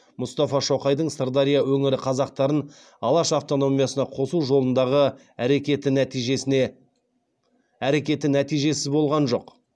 мұстафа шоқайдың сырдария өңірі қазақтарын алаш автономиясына қосу жолындағы әрекеті нәтижесіз болған жоқ